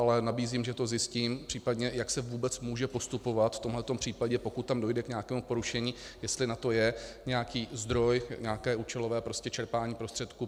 Ale nabízím, že to zjistím, případně, jak se vůbec může postupovat v tomto případě, pokud tam dojde k nějakému porušení, jestli na to je nějaký zdroj, nějaké účelové čerpání prostředků.